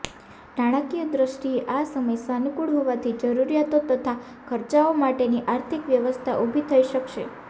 નાણાકીય દૃષ્ટિએ આ સમય સાનુકૂળ હોવાથી જરૂરિયાતો તથા ખર્ચાઓ માટેની આર્થિક વ્યવસ્થા ઊભી થઈ શકશે